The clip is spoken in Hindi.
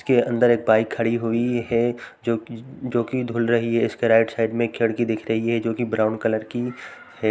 इसके अंदर एक बाइक खड़ी हुई है जो कि जो कि धूल रही है। उसके राइट साइड में एक खिड़की दिख रही है जो कि ब्राउन कलर की है।